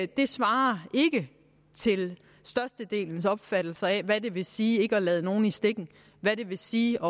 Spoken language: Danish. det svarer ikke til størstedelens opfattelse af hvad det vil sige ikke at lade nogen i stikken hvad det vil sige